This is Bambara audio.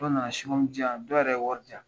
Dɔw na na singɔmi di yan dɔw yɛrɛ ye wari di yan.